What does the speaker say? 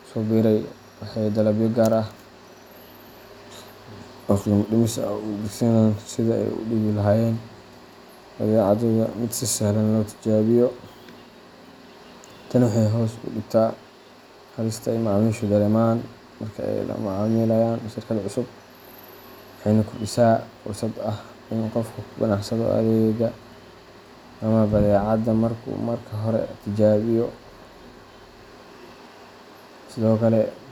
ku soo biiray waxay dalabyo gaar ah oo qiimo dhimis ah u adeegsadaan sidii ay uga dhigi lahaayeen badeecadooda mid si sahlan loo tijaabiyo. Tani waxay hoos u dhigtaa halista ay macaamiishu dareemaan marka ay la macaamilayaan shirkad cusub, waxayna kordhisaa fursadda ah in qofku ku qanacsanaado adeegga ama badeecadda markuu mar hore tijaabiyo Sidoo kale.